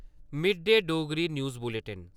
mid day Dogri news bulletin